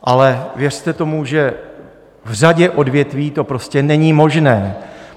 Ale věřte tomu, že v řadě odvětví to prostě není možné.